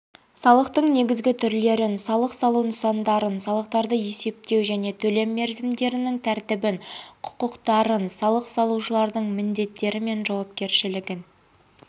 салықтың негізгі түрлерін салық салу нысандарын салықтарды есептеу және төлем мерзімдерінің тәртібін құқықтарын салық салушылардың міндеттері мен жауапкершілігін